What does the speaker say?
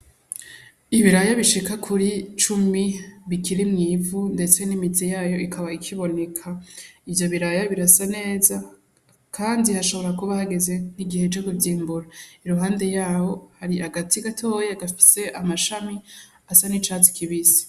Ibiraya bishika kuri cumi bikiri mw'ivu mbese nimizi yayo ikaba ikiboneka ivyo biraya birasa neza kandi hashobora kuba hageze igihe co kuvyimbura iruhande yaho hari agati gatoya gafise amashami gasa nicatsi kibisi.